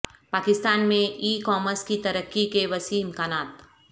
پاکستان میں e commerce کی ترقی کے وسیع امکانات